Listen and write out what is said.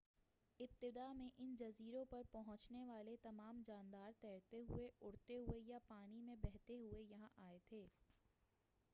ابتداء میں ان جزیروں پر پہنچنے والے تمام جاندار تیرتے ہوئے اڑتے ہوئے یا پانی میں بہتے ہوئے یہاں آئے تھے